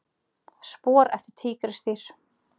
Spor eftir tígrisdýr.